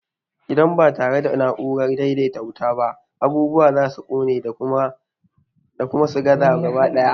Idan ba tare da na'urar daidaita wuta ba, abubuwa za su ƙone, ko kuma su gaza gaba ɗaya.